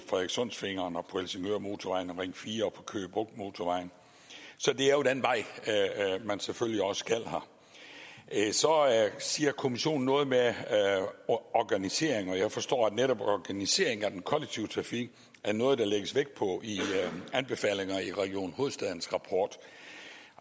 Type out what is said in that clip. frederikssundsfingeren og på helsingørmotorvejen og ring fire og på køge bugt motorvejen så det er jo den vej man selvfølgelig også skal her så siger kommissionen noget med organisering og jeg forstår at netop organisering af den kollektive trafik er noget der lægges vægt på i anbefalingerne i region hovedstadens rapport